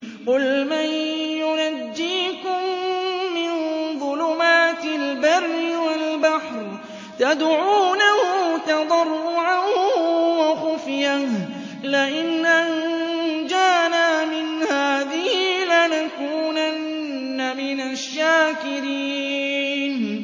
قُلْ مَن يُنَجِّيكُم مِّن ظُلُمَاتِ الْبَرِّ وَالْبَحْرِ تَدْعُونَهُ تَضَرُّعًا وَخُفْيَةً لَّئِنْ أَنجَانَا مِنْ هَٰذِهِ لَنَكُونَنَّ مِنَ الشَّاكِرِينَ